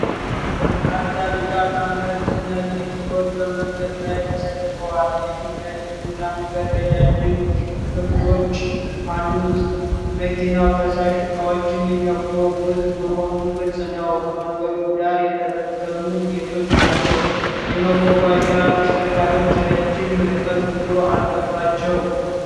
በርካታ ቢጫ ታንከር ጭነት መኪኖች በመንገድ ላይ ተሰልፈዋል። የፊት ለፊቱ ታንከር ረጃጅም ክፍሎች አሉት። መኪናው ፈሳሽ እቃዎችን የሚያጓጉዝ መሆኑ ግልጽ ነው። ከመንገዱ ዳር የተበተኑ ቤቶች ናቸው። የመጓጓዣ ተሽከርካሪዎች የረጅም ርቀት ጉዞ አለባቸው።